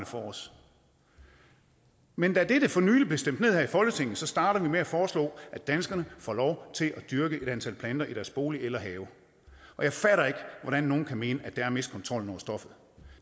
for os men da dette for nylig blev stemt ned her i folketinget starter vi med at foreslå at danskerne får lov til at dyrke et antal planter i deres bolig eller have og jeg fatter ikke hvordan nogle kan mene at det er at miste kontrollen over stoffet